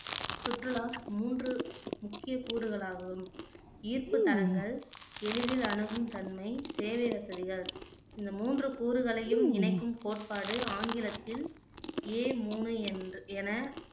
சுற்றுலா மூன்று முக்கிய கூறுகள் ஆகும் ஈர்ப்பு தலங்கள், எளிதில் அணுகும் தன்மை, சேவை வசதிகள் இந்த மூன்று கூறுகளையும் இணைக்கும் கோட்பாடு ஆங்கிலத்தில் ஏ மூணு என்று என